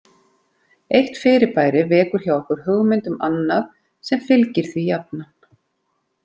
Eitt fyrirbæri vekur hjá okkur hugmynd um annað sem fylgir því jafnan.